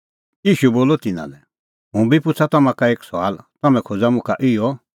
ईशू बोलअ तिन्नां लै हुंबी पुछ़ा तम्हां का एक सुआल तम्हैं खोज़ा मुखा इहअ